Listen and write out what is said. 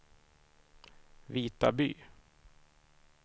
Vitaby